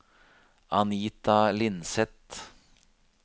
Anita Lindseth